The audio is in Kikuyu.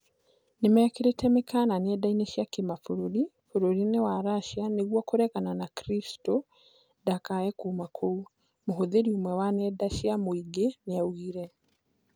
Nĩmekĩrĩire mĩkana nenda cia kĩmabũrũri bũrũri-inĩ wa Russia nĩguo kũregana na Kristo ndakae kuma kũu," mũhũthĩri ũmwe wa nenda cia mũingĩ nĩaugire